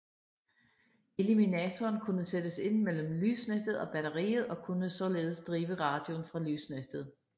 Eliminatoren kunne sættes ind mellem lysnettet og batteriet og kunne således drive radioen fra lysnettet